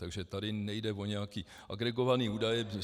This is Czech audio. Takže tady nejde o nějaké agregované údaje.